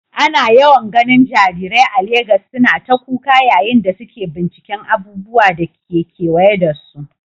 Ana yawan ganin jarirai a Legas suna ta kuka yayin da suke binciken abubuwan da ke kewaye da su.